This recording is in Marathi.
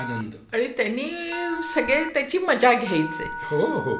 आणि त्यांनी सगळे त्याचे मजा घ्यायची